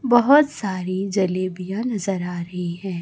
बहोत सारी जलेबियां नजर आ रही हैं।